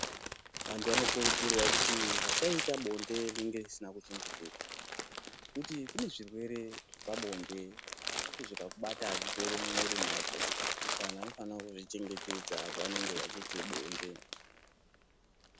Vantu vanokurudzirwa kuti vasaite bonde rinenge risina kuchengetedzwa nekuti kune zvirwere zvepabonde zvinoti zvikakubata azviperi mumwiri mwako saka anhu anofane kuzvichengetedza paanenge achiite bonde.